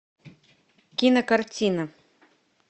кинокартина